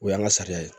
O y'an ka sariya ye